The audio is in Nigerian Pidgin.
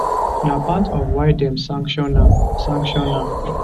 na part of why dem sanction am sanction am